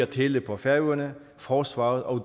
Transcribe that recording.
tele på færøerne forsvaret og